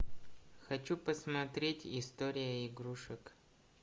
хочу посмотреть история игрушек